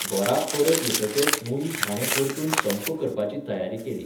घोराक परत येतकच मुईझ हाणें परतून संप करपाची तयारी केली.